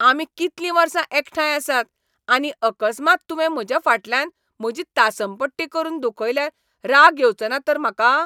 आमी कितलीं वर्सा एकठांय आसात, आनी अकस्मात तूंवें म्हज्या फाटल्यान म्हजी तासमपट्टी करून दुखयल्यार राग येवचो ना तर म्हाका?